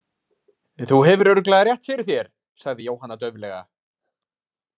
Þú hefur örugglega rétt fyrir þér, sagði Jóhanna dauflega.